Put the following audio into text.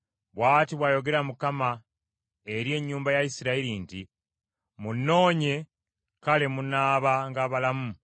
Bw’ati bw’ayogera Mukama eri ennyumba ya Isirayiri nti, “Munnoonye kale munaabanga balamu.